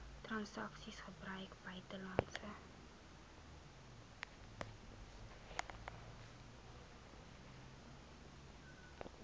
transaksies gebruik buitelandse